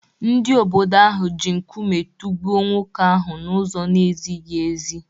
Ndị obodo ahụ ji nkume tụgbuo nwoke ahụ n’ụzọ na-ezighị ezi.